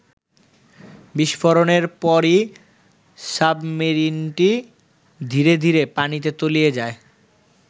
বিস্ফোরণের পরই সাবমেরিনটি ধীরে ধীরে পানিতে তলিয়ে যায়।